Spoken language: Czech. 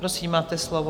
Prosím, máte slovo.